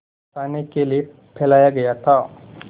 फँसाने के लिए फैलाया गया था